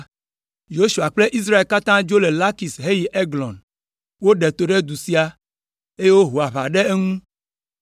Yosua kple Israel katã dzo le Lakis heyi Eglon. Woɖe to ɖe du sia, eye woho aʋa ɖe eŋu.